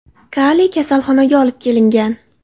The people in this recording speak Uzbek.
Kali kasaxonaga olib kelingan.